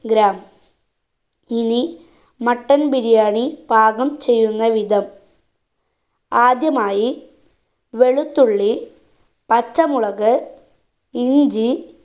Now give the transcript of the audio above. gram ഇനി mutton biryani പാകം ചെയ്യുന്ന വിധം ആദ്യമായി വെളുത്തുള്ളി പച്ചമുളക് ഇഞ്ചി